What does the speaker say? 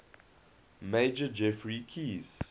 major geoffrey keyes